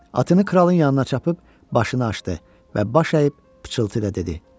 Atını kralın yanına çapıb başını açdı və baş əyib pıçıltı ilə dedi: